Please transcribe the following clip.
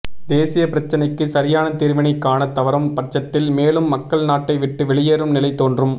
தேசிய பிரச்சினைக்கு சரியான தீர்வினை காணத் தவறும் பட்சத்தில் மேலும் மக்கள் நாட்டை விட்டு வெளியேறும் நிலை தோன்றும்